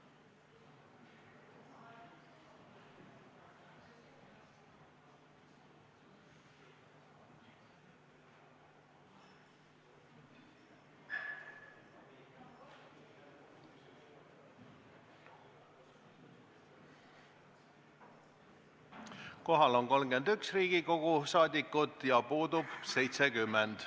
Kohaloleku kontroll Kohal on 31 Riigikogu liiget ja puudub 70.